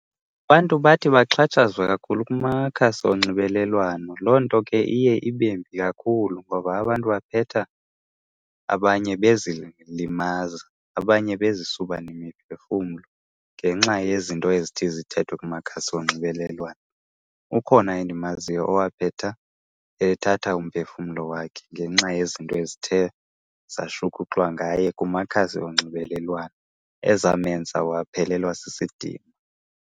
Abantu bathi baxhatshazwa kakhulu kumakhasi onxibelelwano. Loo nto ke iye ibe mbi kakhulu ngoba abantu baphetha abanye bezilimaza abanye bezisuba nemiphefumlo ngenxa yezinto ezithi zithethwe kumakhasi onxibelelwano. Ukhona endimaziyo owaphetha ethatha umphefumlo wakhe ngenxa yezinto ezithe zashukuxwa ngaye kumakhasi onxibelelwano ezamenza waphelelwa sisidima.